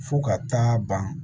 Fo ka taa ban